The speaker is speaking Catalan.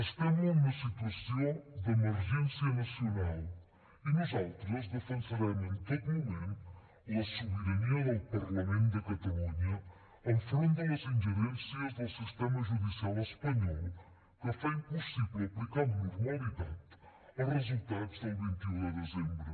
estem en una situació d’emergència nacional i nosaltres defensarem en tot moment la sobirania del parlament de catalunya enfront de les ingerències del sistema judicial espanyol que fa impossible aplicar amb normalitat els resultats del vint un de desembre